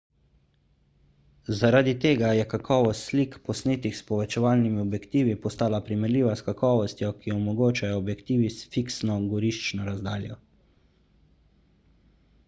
zaradi tega je kakovost slik posnetih s povečevalni objektivi postala primerljiva s kakovostjo ki jo omogočajo objektivi s fiksno goriščno razdaljo